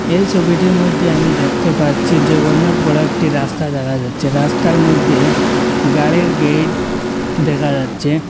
এই ছবিটির মধ্যে আমি দেখতে পাচ্ছি যে অনেক বড়ো একটি রাস্তা দেখা যাচ্ছে রাস্তার মধ্যে গাড়ির গেট দেখা যাচ্ছে।